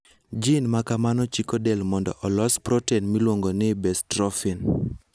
Gene ma kamano chiko del mondo olos protein miluongo ni bestrophin.